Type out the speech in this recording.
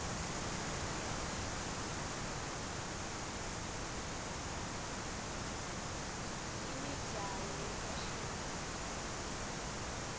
imibzalo yefashini